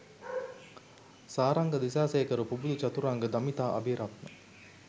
Saranga Dissanayake Pubudu Chaturanga Damitha Abeyratne